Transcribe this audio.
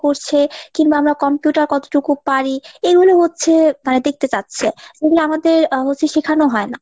করছে , কিংবা আমরা computer কতটুকু পারি এইগুলো হচ্ছে তারা দেখতে চাচ্ছে যেগুলো আমাদের আহ হচ্ছে শেখানো হয় না।